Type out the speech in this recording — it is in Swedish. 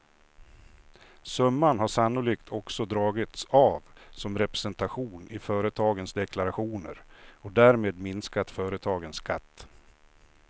Summan har sannolikt också dragits av som representation i företagens deklarationer och därmed minskat företagens skatt.